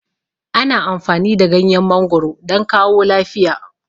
Ana amfani da ganyen mangoro don kawo lafiya